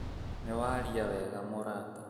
Nĩwaria wega mũrata